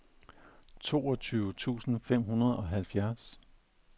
toogtyve tusind fem hundrede og halvfjerds